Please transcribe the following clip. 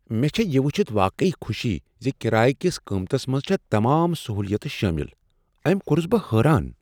مےٚ چھےٚ یہ ؤچھتھ واقعی خوشی ز کرایہ کس قیمتس منٛز چھےٚ تمام سہولیت شٲمل۔ أمۍ کوٚرس بہٕ حیران!